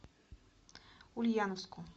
ульяновску